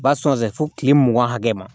U b'a sɔn fo kile mugan hakɛ ma